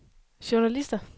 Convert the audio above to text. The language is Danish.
journalister